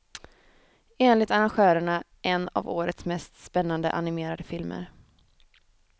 Enligt arrangörerna en av årets mest spännande animerade filmer.